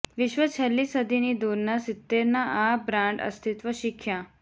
વિશ્વ છેલ્લી સદીની દૂરના સિત્તેરના આ બ્રાન્ડ અસ્તિત્વ શીખ્યા